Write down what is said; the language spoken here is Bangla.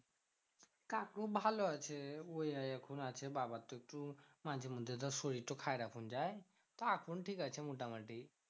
কাকু ভালো আছে ওই এখন আছে। বাবার তো একটু মাঝে মধ্যে ধর শরীর তো ধর খারাপ হয়ে যায়। তা এখন ঠিক আছে মোটামুটি।